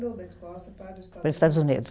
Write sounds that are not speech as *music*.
Ou da Escócia para. *unintelligible* Para os Estados Unidos